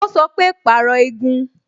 Ó sọ pé "Pàrọ̀ igun"